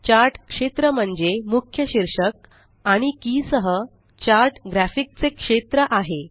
chart क्षेत्र म्हणजे मुख्य शीर्षक आणि की सह चार्ट ग्राफिक चे क्षेत्र आहे